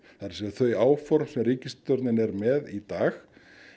þau áform sem ríkisstjórnin er með í dag